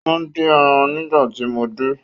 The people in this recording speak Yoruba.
O n din eran nigbati mo de